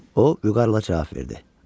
O, vüqarla cavab verdi: